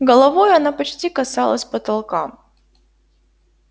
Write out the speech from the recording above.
головой она почти касалась потолка